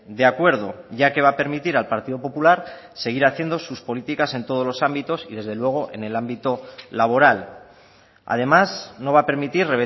de acuerdo ya que va a permitir al partido popular seguir haciendo sus políticas en todos los ámbitos y desde luego en el ámbito laboral además no va a permitir